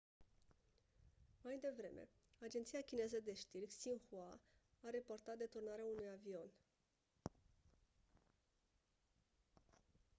mai devreme agenția chineză de știri xinhua a raportat deturnarea unui avion